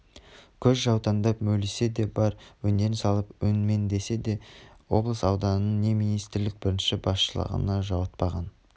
көз жаутаңдап мөлисе де бар өнерін салып өңмеңдесе де облыс-ауданның не министрлктің бірінші басшылығына жуытпаған